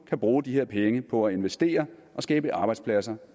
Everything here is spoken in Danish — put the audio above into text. kan bruge de her penge på at investere og skabe arbejdspladser